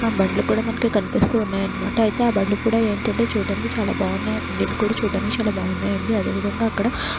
బండ్లు కూడా మనకు కనిపిస్తున్నాయి అన్నమాట అయితే ఆ బండ్లు కూడా ఏంటంటే చూడ్డానికి చాలా బాగున్నాయి ఇల్లు కూడా చూడ్డానికి చాలా బాగున్నాయి అండి అదేవిధంగా అక్కడ --